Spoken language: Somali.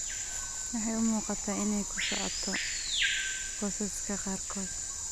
Waxay u muuqataa inay ku socoto qoysaska qaarkood.